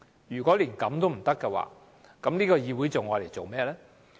如果連這樣也不行，這個議會還有何用處？